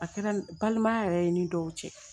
A kɛra balimaya yɛrɛ i ni dɔw cɛ